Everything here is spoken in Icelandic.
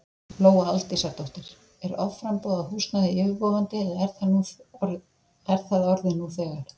Lóa Aldísardóttir: Er offramboð á húsnæði yfirvofandi eða er það orðið nú þegar?